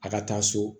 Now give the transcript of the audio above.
A ka taa so